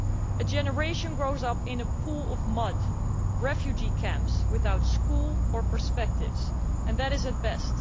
A generation grows up in a pool of mud, in refugee camps without schools or prospects and that is at best.